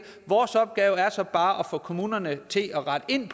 vores opgave er så bare at få kommunerne til at rette ind